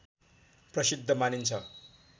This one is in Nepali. प्रसिद्ध मानिन्छ